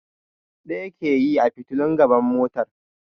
Ɗaya ke yi a fitilun gaban motar.